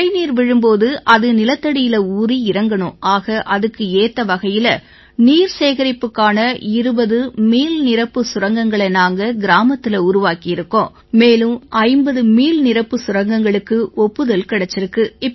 மழைநீர் விழும் போது அது நிலத்தடியில ஊறி இறங்கணும் ஆக அதுக்கு ஏத்த வகையில நீர்சேகரிப்புக்கான 20 மீள்நிரப்புச் சுரங்கங்களை நாங்க கிராமத்தில உருவாக்கியிருக்கோம் மேலும் 50 மீள்நிரப்புச் சுரங்கங்களுக்கு ஒப்புதல் கிடைச்சிருக்கு